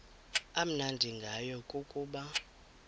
amnandi ngayo kukuba